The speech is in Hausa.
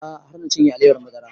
A'a har na cinye alewar madara